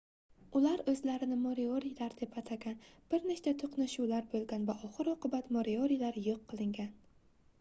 ular oʻzlarini moriorilar deb atagan bir nechta toʻqnashuvlar boʻlgan va oxir-oqibat moriorilar yoʻq qilingan